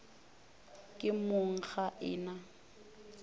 ke mong ga e na